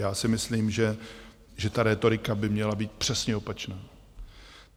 Já si myslím, že ta rétorika by měla být přesně opačná.